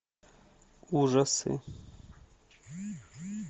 ужасы